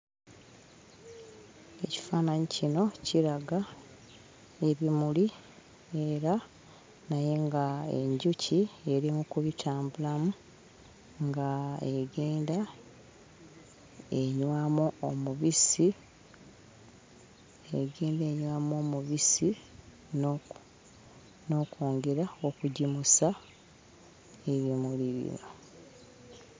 Ekifaananyi kino kiraga ebimuli era naye ng'enjuki eri mu kubitambulamu ng'egenda enywamu omubisi, egenda enywamu omubisi n'oku n'okwongera okugimusa ebimuli bino.